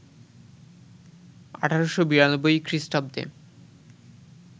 ১৮৯২ খ্রীস্টাব্দে